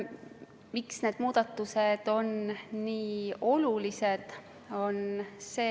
Miks need muudatused on nii olulised?